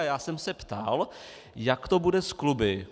A já jsem se ptal, jak to bude s kluby.